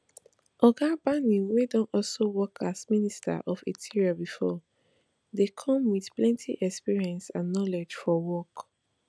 oga bani wey don also work as minister of interior bifor dey come wit plenti experience and knowledge for work